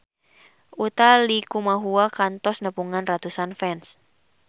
Utha Likumahua kantos nepungan ratusan fans